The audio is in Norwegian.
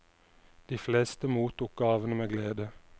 De fleste mottok gavene med glede.